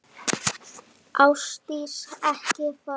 Ásdís, ekki fara.